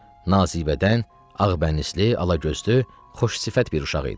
nazıbədən, ağbənizli, alagözlü, xoş sifət bir uşaq idi.